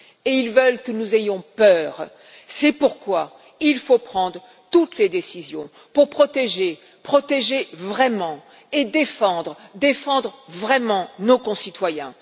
Et ils veulent que nous ayons peur. C'est pourquoi il faut prendre toutes les décisions pour protéger, protéger vraiment, et défendre, défendre vraiment nos concitoyens!